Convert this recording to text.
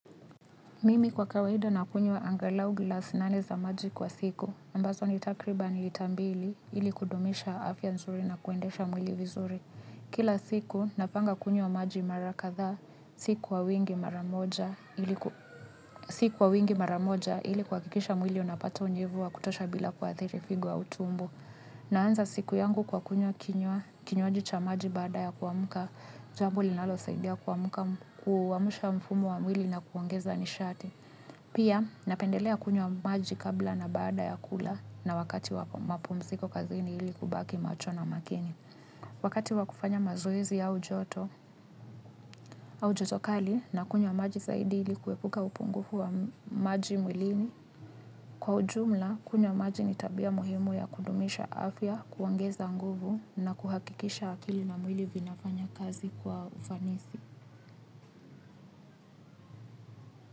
Mimi kwa kawaida nakunywa angalau glasi nane za maji kwa siku. Ambazo ni takriban lita mbili ili kudumisha afya nzuri na kuendesha mwili vizuri. Kila siku napanga kunywa maji mara kadhaa si kwa wingi mara moja siku wa wingi mara moja ili kuhakikisha mwili unapata unyevu wa kutosha bila kuathiri figo au tumbo. Naanza siku yangu kwa kunywa kinywaji cha maji baada ya kuamka jambo linalosaidia kuamuka kuamsha mfumo wa mwili na kuongeza nishati. Pia napendelea kunywa maji kabla na baada ya kula na wakati wa mapumziko kaziini ili kubaki macho na makini. Wakati wa kufanya mazoezi au joto, au joto kali nakunywa maji zaidi ili kuepuka upungufu wa maji mwilini. Kwa ujumla, kunywa maji ni tabia muhimu ya kudumisha afya, kuongeza nguvu na kuhakikisha akili na mwili vinafanya kazi kwa ufanisi.